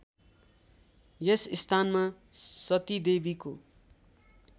यस स्थानमा सतीदेवीको